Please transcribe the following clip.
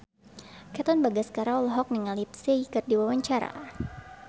Katon Bagaskara olohok ningali Psy keur diwawancara